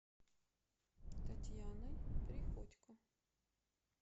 татьяной приходько